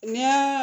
Ni